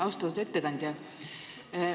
Austatud ettekandja!